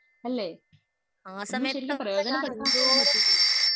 അല്ലേ ശരിക്കും ഒന്ന് പ്രേയോജന പെടുത്താൻപോലും പറ്റിയിട്ടില്ല